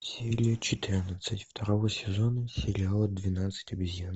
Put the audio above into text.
серия четырнадцать второго сезона сериала двенадцать обезьян